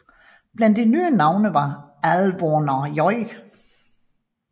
Blandt de nye navne var Álvaro J